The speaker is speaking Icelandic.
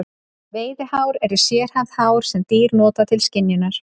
Veiðihár eru sérhæfð hár sem dýr nota til skynjunar.